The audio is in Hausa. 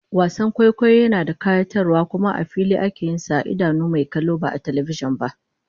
Wasan kwaikwayo yana da kayatarwa kuma a fili ake yin sa a idanun mai kallo ba a talbijin ba